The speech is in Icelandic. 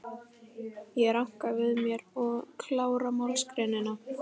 Ég ranka við mér og klára málsgreinina.